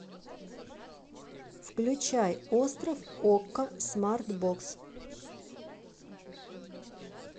включай остров окко смарт бокс